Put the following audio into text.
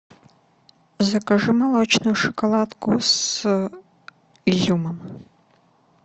закажи молочную шоколадку с изюмом